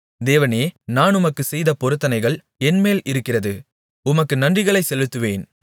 தேவனே நான் உமக்குச்செய்த பொருத்தனைகள் என்மேல் இருக்கிறது உமக்கு நன்றிகளைச் செலுத்துவேன்